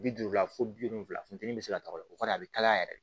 Bi duuru la fo bi wolonfila funtɛni bɛ se ka taga o kɔnɔ a bɛ kalaya yɛrɛ